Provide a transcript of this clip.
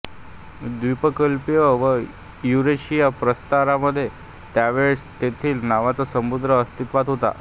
द्वीपकल्प व युरेशिया प्रस्तरामध्ये त्यावेळेस टेथिस नावाचा समुद्र अस्तित्वात होता